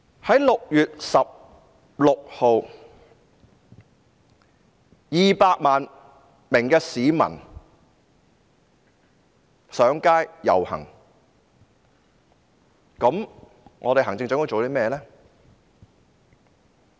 在6月16日 ，200 萬名市民上街遊行，行政長官又做過甚麼呢？